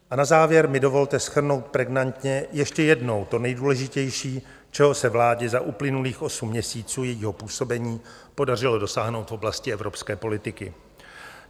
A na závěr mi dovolte shrnout pregnantně ještě jednou to nejdůležitější, čeho se vládě za uplynulých osm měsíců jejího působení podařilo dosáhnout v oblasti evropské politiky.